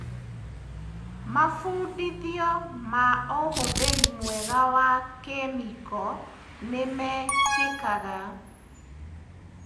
Mabundithio ma ũhũthĩri mwega wa kĩmĩko nĩmekĩkaga.